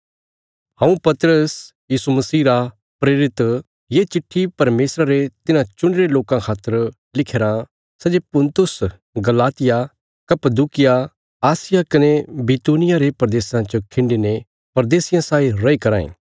हऊँ पतरस यीशु मसीह रा प्रेरित ये चिट्ठी परमेशरा रे तिन्हां चुणी रे लोकां खातर लिख्या राँ सै जे पुन्तुस गलातिया कप्पदूकिया आसिया कने बितूनिया रे प्रदेशां च खिण्डीने प्रदेशियां साई रैई कराँ ए